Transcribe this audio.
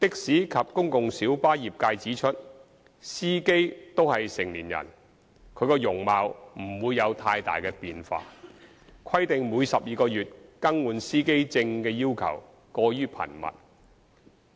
的士及公共小巴業界指出司機均屬成年人，其容貌不會有太大變化，規定每12個月更換司機證的要求過於頻密，